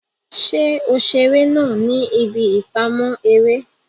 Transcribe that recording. Ṣe o ṣeré náà ní ibí ipamọ eré?